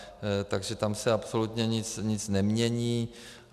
Takže tam se absolutně nic nemění.